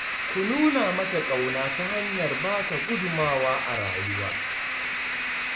Ku nuna mata ƙauna ta hanyar ba ta gudunmawa a rayuwa